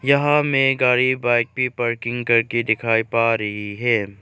यहां में गाड़ी बाइक भी पार्किंग करके दिखाई पा रही है।